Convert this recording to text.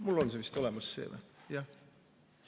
Mul on see vist olemas siin, jah.